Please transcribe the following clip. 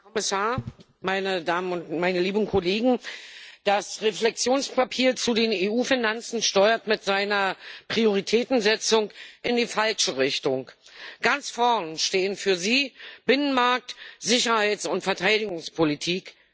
Herr Präsident, Herr Kommissar, meine lieben Kollegen! Das Reflexionspapier zu den EU Finanzen steuert mit seiner Prioritätensetzung in die falsche Richtung. Ganz vorne stehen für Sie Binnenmarkt, Sicherheits und Verteidigungspolitik.